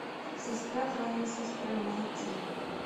сестра твоей сестры найти